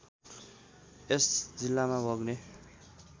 यस जिल्लामा बग्ने